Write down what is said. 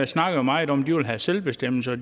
snakker meget om at de vil have selvbestemmelse og